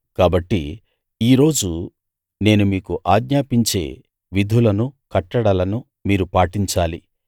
కాబట్టి ఈ రోజు నేను మీకాజ్ఞాపించే విధులను కట్టడలను మీరు పాటించాలి